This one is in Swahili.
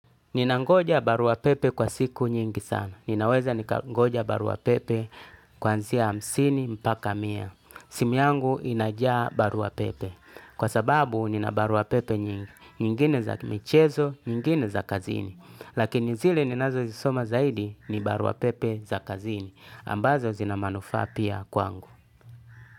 Ninangoja barua pepe kwa siku nyingi sana. Ninaweza nikangoja barua pepe kwanzia hamsini mpaka mia. Simu yangu inajaa barua pepe. Kwa sababu nina barua pepe nyingi. Nyingine za michezo, nyingine za kazini. Lakini zile ninazo zisoma zaidi ni barua pepe za kazini. Ambazo zinamanufaa pia kwangu.